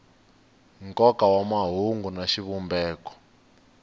nkoka wa mahungu na xivumbeko